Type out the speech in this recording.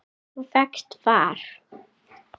Þá fékkst þú far.